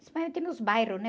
Principalmente nos bairros, né?